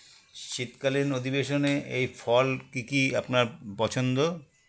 শীতকালীন অধিবেশনে এই ফল কী কী আপনার পছন্দ